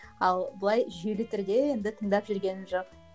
ал былай жүйелі түрде енді тыңдап жүргенім жоқ